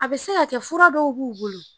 A be se ka kɛ fura dɔw b'u bolo.